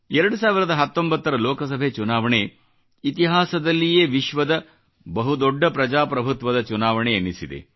2019 ರ ಲೋಕಸಭೆ ಚುನಾವಣೆ ಇತಿಹಾಸದಲ್ಲಿಯೇ ವಿಶ್ವದ ಬಹುದೊಡ್ಡ ಪ್ರಜಾಪ್ರಭುತ್ವದ ಚುನಾವಣೆ ಎನಿಸಿದೆ